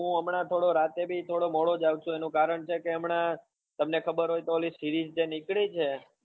હું હમણા થોડું રાતે બી થોડો મોડો જાગતો એનું કારણ છે કે હમણા તમને ખબર હોય તો ઓલી series જે નીકળી છે